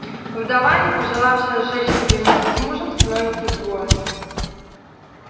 вдова не пожелавшая сжечь себе вместе с мужем становится изгоем